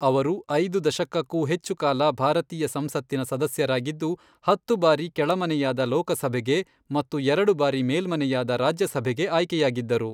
ಅವರು ಐದು ದಶಕಕ್ಕೂ ಹೆಚ್ಚು ಕಾಲ ಭಾರತೀಯ ಸಂಸತ್ತಿನ ಸದಸ್ಯರಾಗಿದ್ದು, ಹತ್ತು ಬಾರಿ ಕೆಳಮನೆಯಾದ ಲೋಕಸಭೆಗೆ ಮತ್ತು ಎರಡು ಬಾರಿ ಮೇಲ್ಮನೆಯಾದ ರಾಜ್ಯಸಭೆಗೆ ಆಯ್ಕೆಯಾಗಿದ್ದರು.